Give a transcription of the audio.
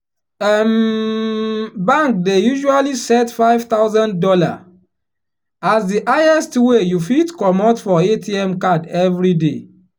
um bank dey usually set five thousand dollar as the highest wey you fit commot for atm card everyday.